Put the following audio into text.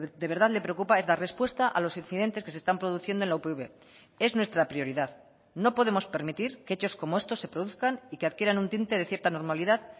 de verdad le preocupa es dar respuesta a los incidentes que se están produciendo en la upv es nuestra prioridad no podemos permitir que hechos como estos se produzcan y que adquieran un tinte de cierta normalidad